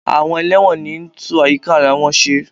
Àwọn ẹlẹ́wọ̀n ni ń tún àyíká ara wọn ṣe